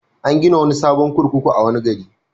An gina wani sabon kurkuku a wani gari.